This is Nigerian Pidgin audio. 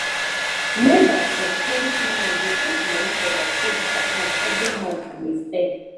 members for d credit union dey put money for their savings account every month on a steady